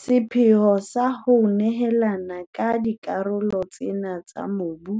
Sepheopheo sa ho nehelana ka dikarolo tsena tsa mobu